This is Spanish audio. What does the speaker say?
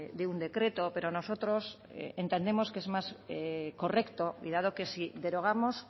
de un decreto pero nosotros entendemos que es más correcto y dado que si derogamos